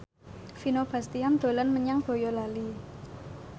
Vino Bastian dolan menyang Boyolali